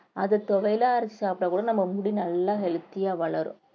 அது துவையலா அரைச்சு சாப்பிட்டா கூட நம்ம முடி நல்லா healthy ஆ வளரும்.